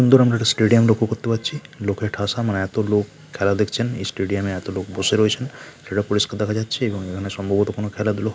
দূরে আমরা একটি স্টেডিয়াম লক্ষ করতে পাচ্ছি লোকে ঠাসা এত লোক খেলা দেখছেন স্টেডিয়ামে এত লোক বসে রয়েছেন সেটা পরিষ্কার দেখা যাচ্ছে এবং এখানে সম্ভবত খেলাধুলা --